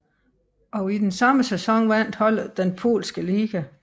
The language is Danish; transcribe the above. Og i den samme sæson vandt holdet den polske liga